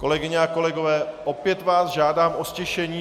Kolegyně a kolegové, opět vás žádám o ztišení.